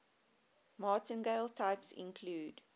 martingale types include